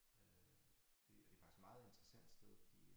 Øh det det faktisk meget interessant sted fordi